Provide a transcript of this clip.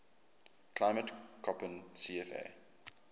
climate koppen cfa